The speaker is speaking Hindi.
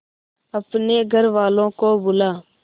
अपने घर वालों को बुला